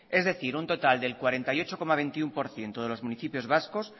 es decir un total del cuarenta y ocho coma veintiuno por ciento de los municipios vascos